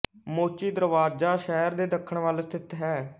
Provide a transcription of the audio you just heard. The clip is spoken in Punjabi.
ਮੋਚੀ ਦਰਵਾਜ਼ਾ ਸ਼ਹਿਰ ਦੇ ਦੱਖਣ ਵੱਲ ਸਥਿਤ ਹੈ